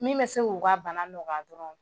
Min bɛ se k'u ka bana nɔgɔya dɔrɔn